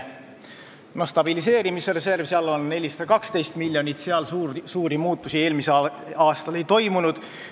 Stabiliseerimisreserv on 412 miljonit, seal eelmisel aastal suuri muutusi ei toimunud.